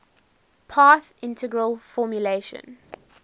path integral formulation